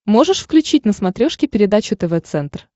можешь включить на смотрешке передачу тв центр